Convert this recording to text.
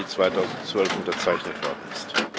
11. Juli 2012 unterzeichnet worden ist.